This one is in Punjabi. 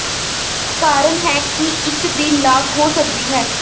ਕਾਰਨ ਹੈ ਕਿ ਇੱਕ ਦੀ ਲਾਗ ਹੋ ਸਕਦੀ ਹੈ